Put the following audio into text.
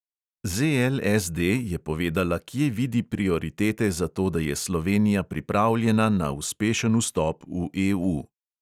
ZLSD je povedala, kje vidi prioritete za to, da je slovenija pripravljena na uspešen vstop v EU.